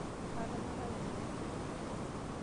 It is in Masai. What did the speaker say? Atonyorayie pi.